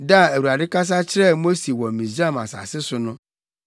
Da a Awurade kasa kyerɛɛ Mose wɔ Misraim asase so no,